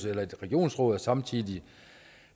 eller et regionsråd og samtidig